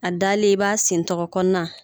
A dalen i b'a sentɛgɛkɔnɔna